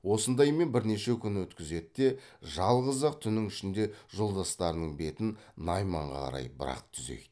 осындаймен бірнеше күн өткізеді де жалғыз ақ түннің ішінде жолдастарының бетін найманға қарай бірақ түзейді